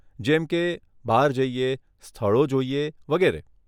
જેમકે, બહાર જઈએ, સ્થળો જોઈએ, વગેરે.